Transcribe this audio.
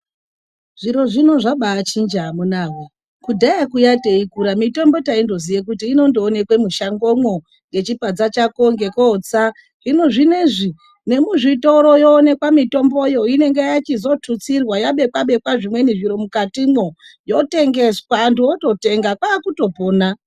Zviro zvino zvabaachinja amunaawee. Kudhaya kuya teikura taiziya kuti mitombo ingongoonekwe mushangomwo, ngechibadza chako ngekootsa. Hino zvinozvi ngemuzvitoro yoonekwa, mitomboyo inenge yachizotutsirwa yabekwa-bekwa zvimweni zviro mukatimwo yotengeswa antu ototenga kwakutopona.